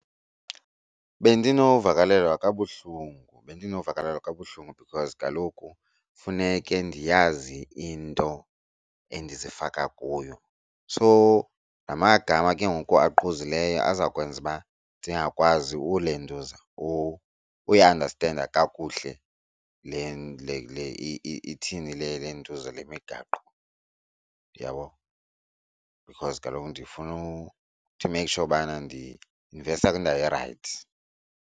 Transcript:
Bendinovakalelwa kabuhlungu bendinovakalelwa kabuhlungu because kaloku funeke ndiyazi into endizifaka kuyo. So namagama ke ngoku aquzileyo azawukwenza uba ndingakwazi ulentuza uyiandastenda kakuhle le ithini le lentuza le migaqo uyabo, because kaloku ndifuna to make sure ubana ndi-investa kwindawo erayithi.